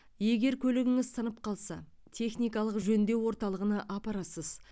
егер көлігіңіз сынып қалса техникалық жөндеу орталығына апарасыз